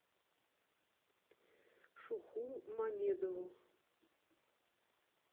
шуху мамедову